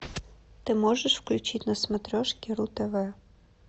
ты можешь включить на смотрешке ру тв